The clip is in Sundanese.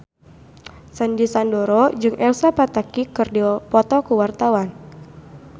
Sandy Sandoro jeung Elsa Pataky keur dipoto ku wartawan